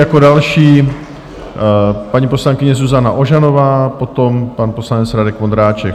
Jako další paní poslankyně Zuzana Ožanová, potom pan poslanec Radek Vondráček.